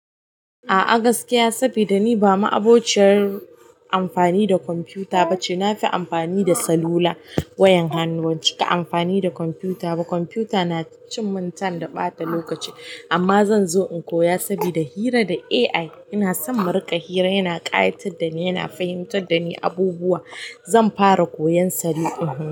A'a gaskiya saboda ni ba ma'abociyar amfani da kwamfuta ba ce. Na fi amfani da salula, wayan hannu. Ban cika amfani da kwamfuta ba. Kwamfuta na cin min time amma ɓata lokaci amma zan zo in koya saboda hira da AI. Ina son mu riƙa hira, yana ƙayatar da ni, yana fahimtar da ni abubuwa. Zan fara koyan sa.